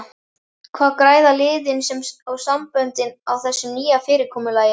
Hvað græða liðin og samböndin á þessu nýja fyrirkomulagi?